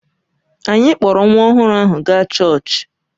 Anyị kpọọrọ nwa ọhụrụ ahụ gaa chọọchị